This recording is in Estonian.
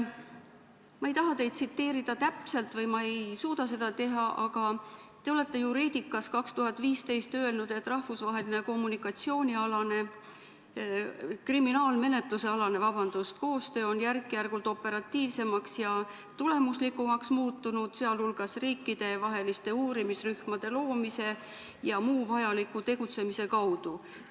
Ma ei taha teid täpselt tsiteerida või ma ei suuda seda teha, aga te olete Juridicas 2015 öelnud, et rahvusvaheline kriminaalmenetlusealane koostöö on järk-järgult operatiivsemaks ja tulemuslikumaks muutunud, muuhulgas riikidevaheliste uurimisrühmade loomise ja tegutsemise kaudu.